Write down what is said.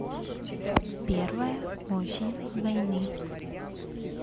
первая осень войны